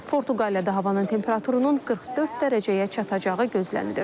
Portuqaliyada havanın temperaturunun 44 dərəcəyə çatacağı gözlənilir.